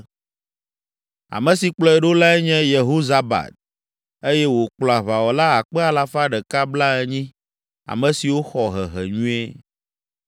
Ame si kplɔe ɖo lae nye Yehozabad eye wòkplɔ aʋawɔla akpe alafa ɖeka blaenyi (180,000), ame siwo xɔ hehe nyuie.